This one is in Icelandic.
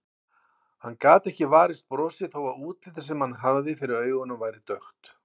Hann gat ekki varist brosi þó að útlitið sem hann hafði fyrir augunum væri dökkt.